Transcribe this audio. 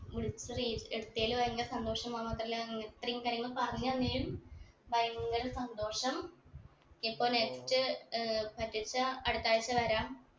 വിളിച്ചത് ഏർ എടുത്തേൽ ഭയങ്കര സന്തോഷം മാത്രല്ല ഇത്രേം കാര്യങ്ങൾ പറഞ്ഞു തന്നതിലും ഭയങ്കര സന്തോഷം ഇപ്പൊ next ഏർ പറ്റുവാ വെച്ച അടുത്താഴ്ച വരാം